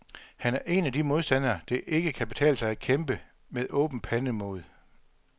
Han er en af de modstandere, det ikke kan betale sig at kæmpe med åben pande mod.